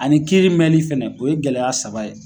Ani kiiri mɛnli fɛnɛ o ye gɛlɛya saba ye.